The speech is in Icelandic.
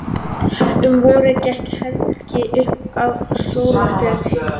Um vorið gekk Helgi upp á Sólarfjöll.